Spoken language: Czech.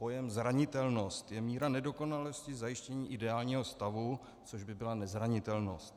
Pojem zranitelnost je míra nedokonalosti zajištění ideálního stavu, což by byla nezranitelnost.